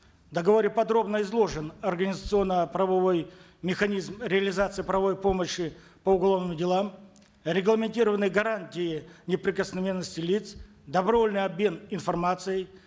в договоре подробно изложен организационно правовой механизм реализации правовой помощи по уголовным делам регламентированы гарантии неприкосновенности лиц добровольный обмен информацией